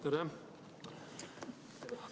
Tere!